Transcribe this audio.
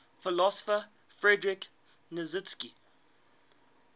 philosopher friedrich nietzsche